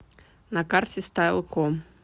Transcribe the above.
на карте стайлком